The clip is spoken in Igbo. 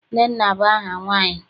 Nnenna bụ aha nwaanyị.